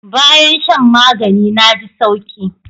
Bayan shan magani na ji sauki.